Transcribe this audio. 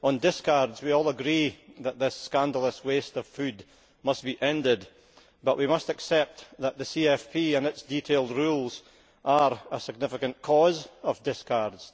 On discards, we all agree that this scandalous waste of food must be ended, but we must accept that the CFP and its detailed rules are a significant cause of discards.